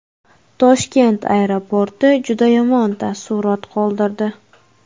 Toshkent aeroporti juda yomon taassurot qoldirdi.